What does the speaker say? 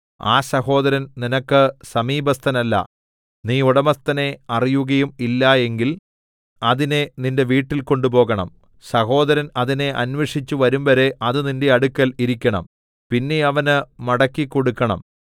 ആ സഹോദരൻ നിനക്ക് സമീപസ്ഥനല്ല നീ ഉടമസ്ഥനെ അറിയുകയും ഇല്ല എങ്കിൽ അതിനെ നിന്റെ വീട്ടിൽ കൊണ്ടുപോകണം സഹോദരൻ അതിനെ അന്വേഷിച്ച് വരുംവരെ അത് നിന്റെ അടുക്കൽ ഇരിക്കണം പിന്നെ അവന് മടക്കിക്കൊടുക്കണം